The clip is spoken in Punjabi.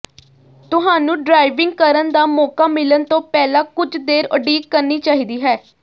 ਤੁਹਾਨੂੰ ਡ੍ਰਾਇਵਿੰਗ ਕਰਨ ਦਾ ਮੌਕਾ ਮਿਲਣ ਤੋਂ ਪਹਿਲਾਂ ਕੁਝ ਦੇਰ ਉਡੀਕ ਕਰਨੀ ਚਾਹੀਦੀ ਹੈ